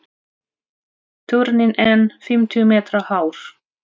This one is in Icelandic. Turninn er fimmtíu metra hár.